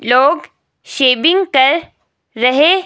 लोग शेविंग कर रहे--